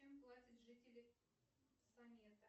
чем платят жители самета